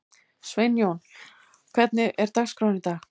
Sveinjón, hvernig er dagskráin í dag?